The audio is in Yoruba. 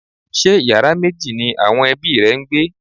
Ṣé yàrá méjì ni àwọn ẹbí rẹ ń gbé?